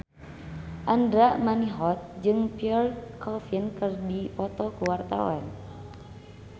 Andra Manihot jeung Pierre Coffin keur dipoto ku wartawan